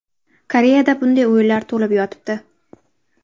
Koreyada bunday o‘yinlar to‘lib yotibdi.